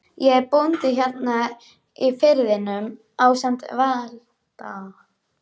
Ég er bóndi hérna í firðinum ásamt Valda